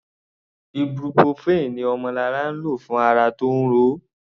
Ibuprofen ni Omolara lò fún ara tí ó ń ro.